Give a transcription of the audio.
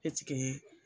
Eseke